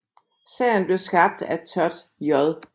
Serien blev skabt af Todd J